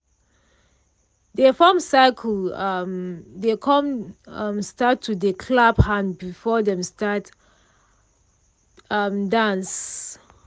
dey form circle um dey com um start to dey clap hand before dem start um dance.